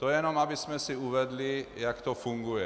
To jenom abychom si uvedli, jak to funguje.